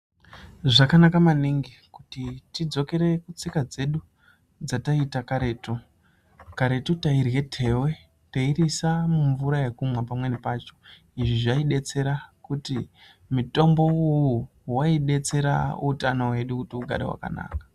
Zvakanaka maningi kuti tidzokere kutsika dzedu dzataiita karetu ,karetu tairye tewe teiriisa mumvura yekumwa pamweni pacho izvi zvaidetsera kuti mutombo uwowo waidetsera kuti utano hwedu hugare zvakanaka.